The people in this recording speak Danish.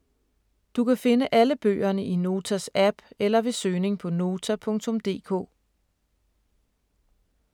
Du kan finde alle bøgerne i Notas app eller ved søgning på Nota.dk